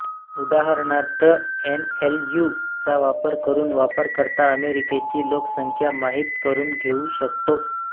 उदाहरणार्थ एनएलयू चा वापर करून वापरकर्ता अमेरिकेची लोकसंख्या माहित करून घेऊ शकतो